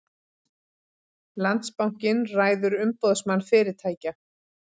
Landsbankinn ræður Umboðsmann fyrirtækja